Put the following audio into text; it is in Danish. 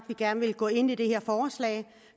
vi gerne vil gå ind i det her forslag